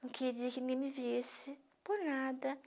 Não queria que ninguém me visse, por nada.